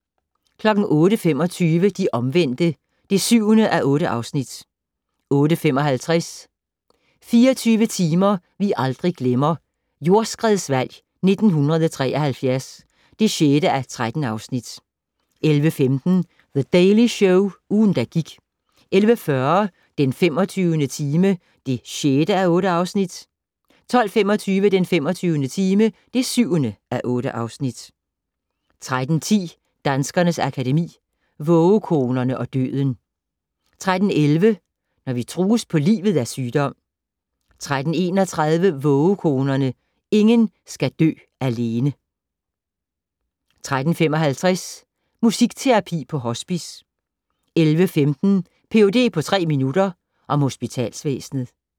08:25: De Omvendte (7:8) 08:55: 24 timer vi aldrig glemmer - Jordskredsvalg 1973 (6:13) 11:15: The Daily Show - ugen, der gik 11:40: Den 25. time (6:8) 12:25: Den 25. time (7:8) 13:10: Danskernes Akademi: Vågekonerne og døden 13:11: Når vi trues på livet af sygdom 13:31: Vågekonerne - ingen skal dø alene 13:55: Musikterapi på hospice 14:15: Ph.d. på tre minutter - om hospitalsvæsenet